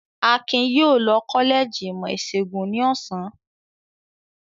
Akin yóò lọ kọ́lẹ́jì ìmọ̀-ìṣègùn ní ọ̀sán.